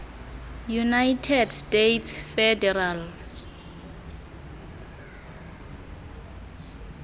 united states federal